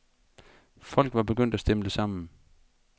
Folk var begyndt at stimle sammen.